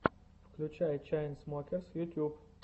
включай чайнсмокерс ютюб